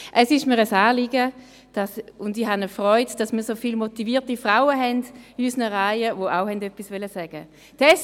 Es ist mir ein Anliegen, und es ist mir eine Freude, dass wir so viele motivierte Frauen in unseren Reihen haben, die auch etwas sagen wollten.